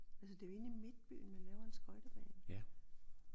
Altså det jo inde i midtbyen man laver en skøjtebane